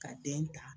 Ka den ta